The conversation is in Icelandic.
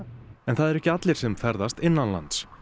en það eru ekki allir sem ferðast innanlands